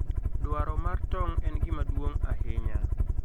Dwaro mar tong' en gima duong' ahinya.